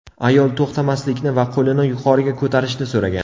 Ayol to‘xtamaslikni va qo‘lini yuqoriga ko‘tarishni so‘ragan.